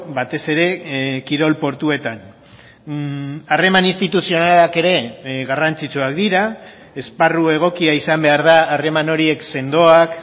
batez ere kirol portuetan harreman instituzionalak ere garrantzitsuak dira esparru egokia izan behar da harreman horiek sendoak